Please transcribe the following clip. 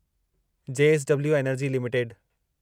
JSW energy limited